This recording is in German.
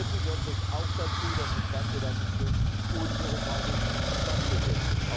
Zum Dritten gehört natürlich auch dazu, dass das Ganze dann zum Schluss unbürokratisch stattfindet.